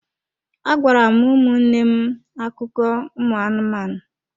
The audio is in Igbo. Agwara m ụmụnne m akụkọ ụmụ anụmanụ